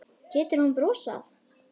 Getur hún brosað?